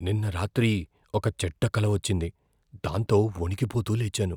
నిన్న రాత్రి ఒక చెడ్డ కల వచ్చింది, దాంతో వణికిపోతూ లేచాను.